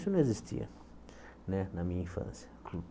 Isso não existia né na minha infância.